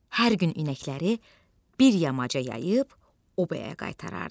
Hər gün inəkləri bir yamaca yayıb obaya qaytarardı.